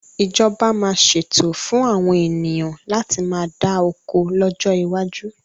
Ìjọba máa ṣètò fún àwọn ènìyàn láti má dá oko lọ́jọ́ iwájú